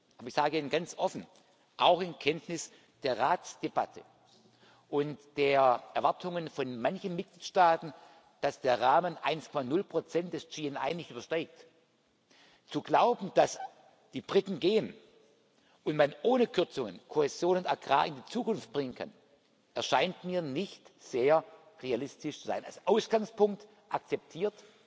Aber ich sage Ihnen ganz offen, auch in Kenntnis der Ratsdebatte und der Erwartungen von manchen Mitgliedstaaten, dass der Rahmen 1,0 des GNI nicht übersteigt, zu glauben, dass die Briten gehen und man ohne Kürzungen Kohäsion und Agrar in die Zukunft bringen kann, erscheint mir nicht sehr realistisch zu sein als Ausgangspunkt akzeptiert,